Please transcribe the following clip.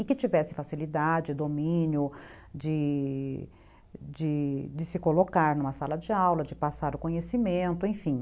E que tivesse facilidade, domínio de de se colocar numa sala de aula, de passar o conhecimento, enfim.